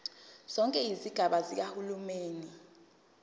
zonke izigaba zikahulumeni